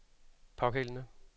pågældende